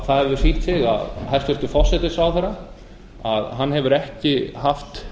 það hefur sýnt sig að hæstvirtur forsætisráðherra hefur ekki haft